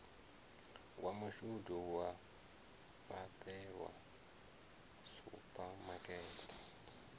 wa mashudu wa fhaṱelwa suphamakete